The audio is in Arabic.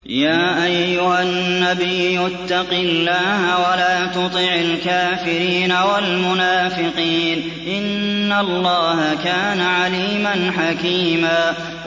يَا أَيُّهَا النَّبِيُّ اتَّقِ اللَّهَ وَلَا تُطِعِ الْكَافِرِينَ وَالْمُنَافِقِينَ ۗ إِنَّ اللَّهَ كَانَ عَلِيمًا حَكِيمًا